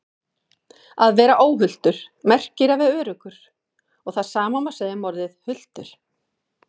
Að vera óhultur merkir að vera öruggur og það sama má segja um orðið hultur.